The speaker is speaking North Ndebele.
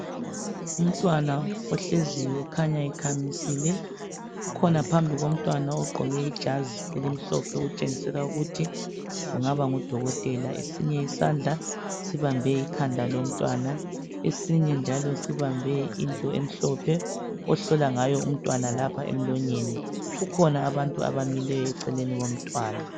Umntwana ohleziyo okhanya ekhamisile. Kukhona phambi komntwana ogqoke ijazi elimhlophe okutshengisela ukuthi kungaba ngudokotela. Esinye isandla sibambe ikhanda lomntwana esinye njalo sibambe into emhlophe ohlola ngayo umntwana lapha emlonyeni kukhona abantu abamileyo eceleni komntwana.